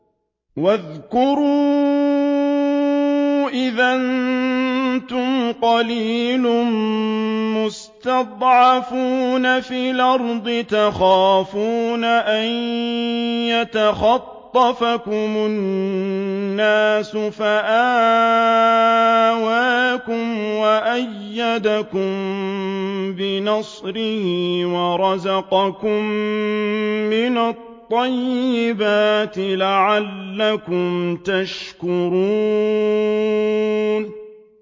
وَاذْكُرُوا إِذْ أَنتُمْ قَلِيلٌ مُّسْتَضْعَفُونَ فِي الْأَرْضِ تَخَافُونَ أَن يَتَخَطَّفَكُمُ النَّاسُ فَآوَاكُمْ وَأَيَّدَكُم بِنَصْرِهِ وَرَزَقَكُم مِّنَ الطَّيِّبَاتِ لَعَلَّكُمْ تَشْكُرُونَ